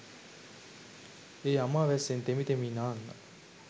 ඒ අමා වැස්සෙන් තෙමි තෙමි නාන්න